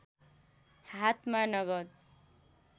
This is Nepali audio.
हातमा नगद